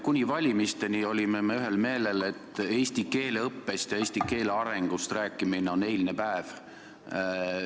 Kuni valimisteni olime me ühel meelel, et eesti keele õppest ja eesti keele arengust rääkimine on eilne päev.